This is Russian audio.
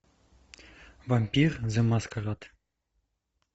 вампир зе маскарад